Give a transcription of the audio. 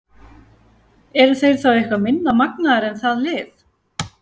Eru þeir þá eitthvað minna magnaðir en það lið?